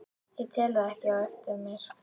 Ég tel það ekkert eftir mér.